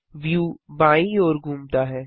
view बायीं ओर घूमता है